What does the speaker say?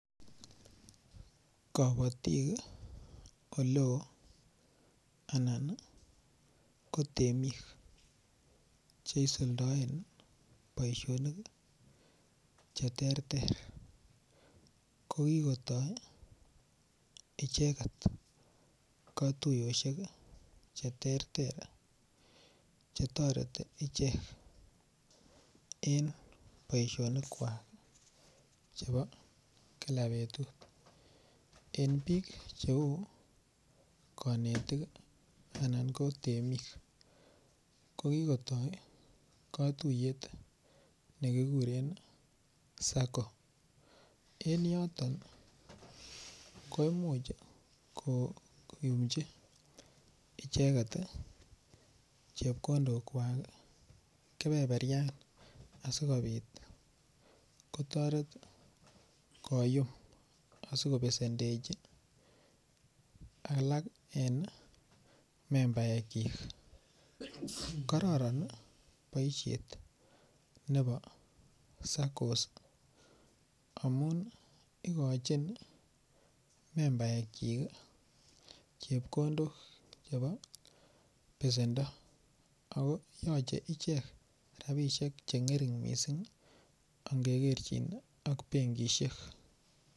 Kabatik oleo anan ko temik Che isuldoen boisionik Che terter ko kigotoi icheget katuyosyek Che terter Che toreti en boisionik kwak chebo kila betut en bik Cheu konetik anan ko temik kogitoi katuiyet ne kiguren SACCO en yoton koimuch koyumchi icheget chepkondok kwak keberberyan asikobit kotoret koyum asi kobesendechi membaikyik kororon boisiet nebo SACCOs amun igochin membaikyik chepkondok chebo besendo ago yoche ichek rabisiek Che ngering mising angekerchin ak benkisiek